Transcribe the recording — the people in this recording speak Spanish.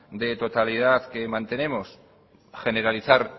de totalidad que mantenemos generalizar